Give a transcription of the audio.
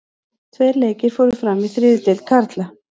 Tveir leikir fóru fram í þriðju deild karla.